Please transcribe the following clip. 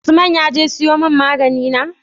Usman yaje siyo mun magani na?